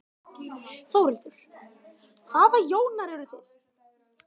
Þórhildur: Hvaða Jónar eruð þið?